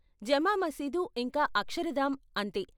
జమా మసీదు ఇంకా అక్షరధామ్ , అంతే.